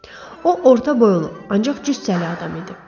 O orta boylu, ancaq cüssəli adam idi.